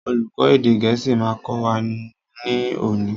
Olùkó èdè gẹ̀ẹ́sì ma kọ́ wa ní òní.